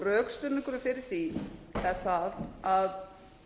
rökstuðningurinn fyrir því er sá að